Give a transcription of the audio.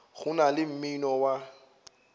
go na le mmino wa